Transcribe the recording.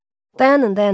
Dayanın, dayanın.